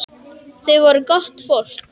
Þau voru gott fólk.